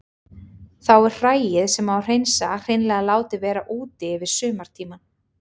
Þá er hræið sem á að hreinsa hreinlega látið vera úti yfir sumartímann.